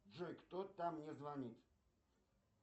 джой кто там мне звонит